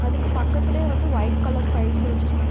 அதுக்கு பக்கத்திலயே வந்து வைட் கலர் பைல்ஸு வச்சிருக்கா --